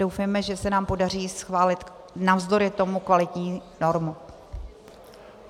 Doufejme, že se nám podaří schválit navzdory tomu kvalitní normu.